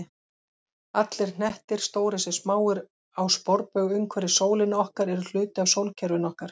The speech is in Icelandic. Allir hnettir, stórir sem smáir, á sporbaug umhverfis sólina okkar eru hluti af sólkerfinu okkar.